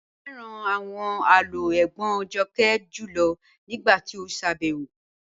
Mo fẹ́ran awọn àlọ́ ègbón Jọ́kẹ́ júlọ̀ nígbàtí o ṣábẹwo